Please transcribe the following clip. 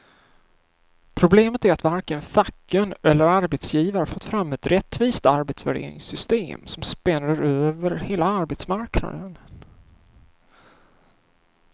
Problemet är att varken facken eller arbetsgivare fått fram ett rättvist arbetsvärderingssystem som spänner över hela arbetsmarknaden.